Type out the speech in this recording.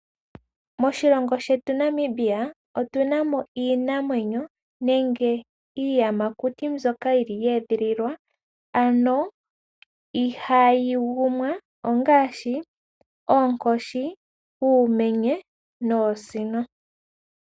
Moshilongo shetu Namibia otu namo iinamwenyo nenge iiyamakuti, mbyoka yili ya edhililwa ano ihaayi gumwa ongaashi oonkoshi, uumenye noosino.